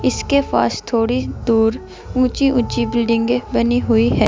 उसके पास थोड़ी दूर ऊंची ऊंची बिल्डिंगे बनी हुई है।